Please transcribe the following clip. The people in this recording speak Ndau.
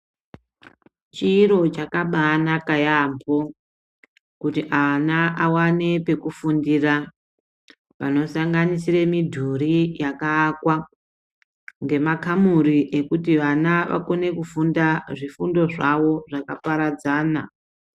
Chiro chakabaanaka yaambo kuti vana vawane pekufundira zvinosanganisira midhuri yakaakwa ngemakamuri yekuti vana vakone kufunda zvifundo zvavo zvakaparadzana.